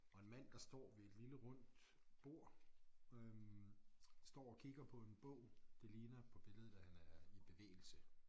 Og en mand der står ved et lille rundt bord øh står og kigger på en bog det ligner på billedet at han er i bevægelse